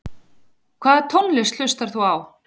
Hvaða tónlist hlustar þú á?